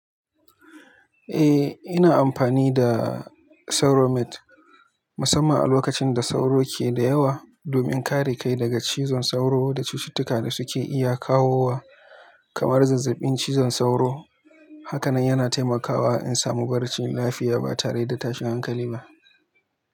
Eh, ina amfani da sauro net, musamman a lokacin da sauro ke da yawa, domin kare kai daga cizon sauro da cututtuka da suke iya kawowa kamar zazzabin cizon sauro. Haka nan yana taimakawa in samu barcin lafiya ba tare da tashin hankali ba.